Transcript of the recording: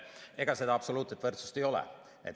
Ega seda absoluutset võrdsust ei ole.